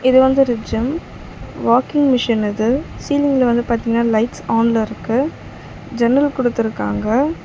இது வந்து ஒரு ஜிம் வாக்கிங் மிஷின் இது சீலிங்ல வந்து பாத்தீங்கன்னா லைட்ஸ் ஆன்ல இருக்கு ஜன்னல் குடுத்திருக்காங்க.